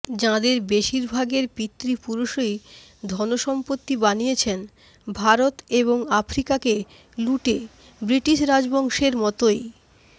যাঁদের বেশিরভাগের পিতৃপুরুষই ধনসম্পত্তি বানিয়েছেন ভারত এবং আফ্রিকাকে লুটে ব্রিটিশ রাজবংশের মতোই